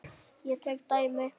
Ég tek dæmi.